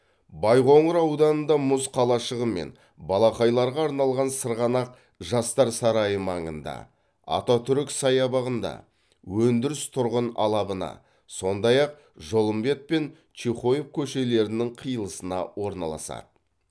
байқоңыр ауданында мұз қалашығы мен балақайларға арналған сырғанақ жастар сарайы маңында ататүрік саябағында өндіріс тұрғын алабына сондай ақ жолымбет пен чехоев көшелерінің қиылысына орналасады